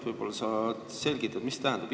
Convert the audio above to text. Võib-olla sa selgitad, mida see tähendab.